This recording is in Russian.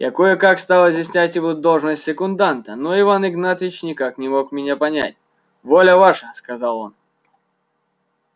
я кое-как стал изъяснять ему должность секунданта но иван игнатьич никак не мог меня понять воля ваша сказал он